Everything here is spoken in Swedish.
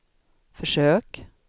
försök